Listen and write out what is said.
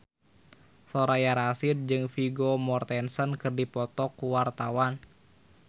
Soraya Rasyid jeung Vigo Mortensen keur dipoto ku wartawan